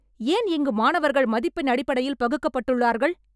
ஏன் இங்கு மாணவர்கள் மதிப்பெண் அடிப்படையில் பகுக்கப்பட்டுள்ளார்கள்?